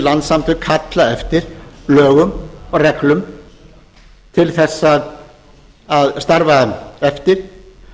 landssamtök kalla eftir lögum og reglum til þess að starfa eftir